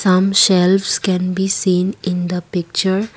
some shelves can be seen in the picture.